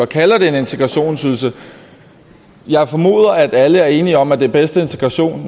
kalder det en integrationsydelse jeg formoder alle er enige om at den bedste integration